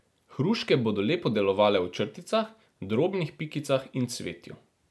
Hruške bodo lepo delovale v črticah, drobnih pikicah in cvetju.